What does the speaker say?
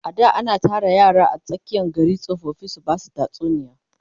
a da ana Tara yara a tsakiyan gari tsofaffi su Basu tatsuniya